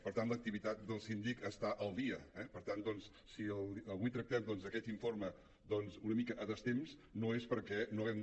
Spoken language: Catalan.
per tant l’activitat del síndic està al dia eh per tant si avui tractem aquest informe una mica a destemps no és perquè no haguem